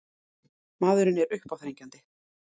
Maðurinn er uppáþrengjandi.